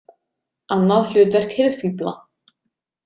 Annað hlutverk hirðfífla.